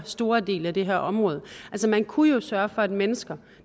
stor del af det her område altså man kunne jo sørge for at mennesker